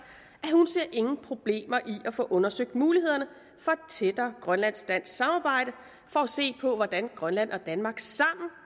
i nogen problemer i at få undersøgt mulighederne for et tættere grønlandsk dansk samarbejde for at se på hvordan grønland og danmark sammen